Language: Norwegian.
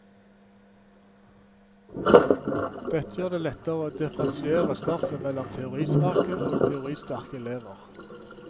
Dette gjør det lettere å differensiere stoffet mellom teorisvake og teoristerke elever.